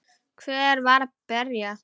Hver var að berja?